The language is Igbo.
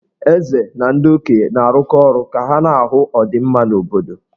Eze na ndị okenye na-arụkọ ọrụ ka ha na-ahụ ọdịmma obodo.